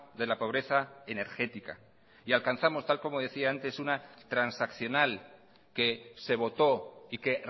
de la pobreza energética y alcanzamos tal como decía antes una transaccional que se votó y que